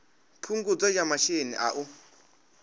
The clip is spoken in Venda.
phungudzo ya masheleni a u